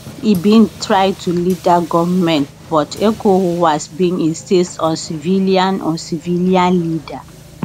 e bin try to lead dat govment but ecowas bin insist on civilian on civilian leader